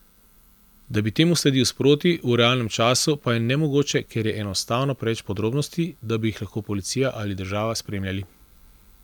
Da bi temu sledil sproti, v realnem času, pa je nemogoče, ker je enostavno preveč podrobnosti, da bi jih lahko policija ali država spremljali.